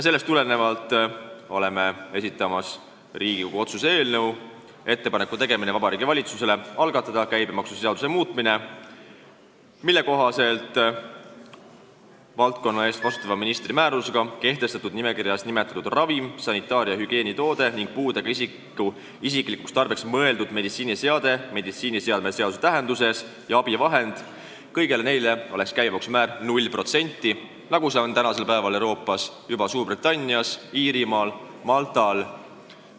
Sellest tulenevalt oleme esitanud Riigikogu otsuse eelnõu "Ettepaneku tegemine Vabariigi Valitsusele algatada käibemaksuseaduse muutmine", mille kohaselt valdkonna eest vastutava ministri määrusega kehtestatud nimekirjas nimetatud ravim, sanitaar- ja hügieenitoode ning puudega isiku isiklikuks tarbeks mõeldud meditsiiniseade meditsiiniseadme seaduse tähenduses ja abivahend – kõigele sellele oleks käibemaksu määr 0%, nagu see Euroopas on juba Suurbritannias, Iirimaal ja Maltal.